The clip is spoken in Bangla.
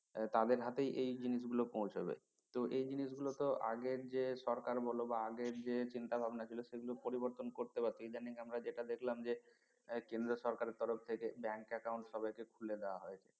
তাদের হাতেই এই জিনিসগুলো পৌঁছাবে তো এই জিনিস গুলো তো আগের যে সরকার বলো বা আগের যে চিন্তা ভাবনা ছিল সেগুলো পরিবর্তন করতে বাকি ইদানিং আমরা যেটা দেখলাম যে কেন্দ্র সরকারের তরফ থেকে bank account সবাই কে খুলে দেওয়া হয়েছে